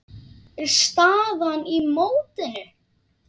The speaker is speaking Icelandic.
er staðan í mótinu.